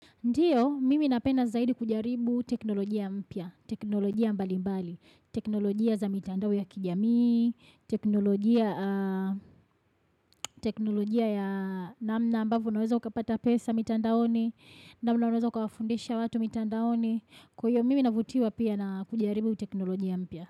Ndiyo, mimi napenda zaidi kujaribu teknolojia mpya, teknolojia mbali mbali. Teknolojia za mitandao ya kijamii, teknolojia ya namna ambavyo unaweza ukapata pesa mitandaoni, namna unaweza ukawafundisha watu mitandaoni. Kwa hivyo, mimi navutiwa pia na kujaribu teknolojia mpya.